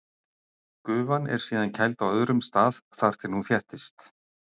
Gufan er síðan kæld á öðrum stað þar til hún þéttist.